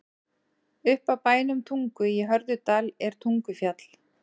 Upp af bænum Tungu í Hörðudal er Tungufjall.